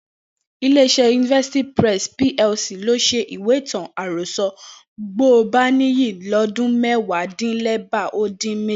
Ilé-iṣẹ́ University Press PLC ló ṣèwé ìtàn-àròsọ Gbọ́baníyì lọ́dún mẹ́wàádínlẹ́gbàá ó dín méjì